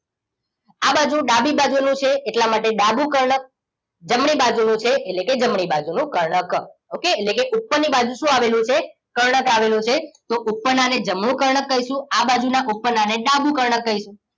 આ બાજુ ડાબી બાજુ નું છે એટલા માટે ડાબું કર્ણકજમણી બાજુ નું છે એટલે કે જમણી બાજુનું કર્ણક ઓકે એટલે કે ઉપર ની બાજુ શું આવેલું છે કર્ણક આવેલું છે તો ઉપરનાને જમણું કર્ણક કહીશું આ બાજુ ના ઉપરના ને ડાબું કર્ણકકહીશું